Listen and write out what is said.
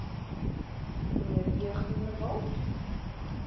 mnr d groenewald